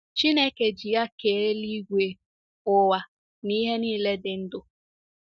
Chineke ji ya kee eluigwe, ụwa, na ihe nile dị ndụ.